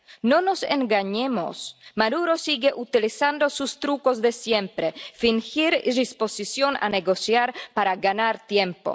No nos engañemos, Maduro sigue utilizando sus trucos de siempre fingir disposición a negociar para ganar tiempo.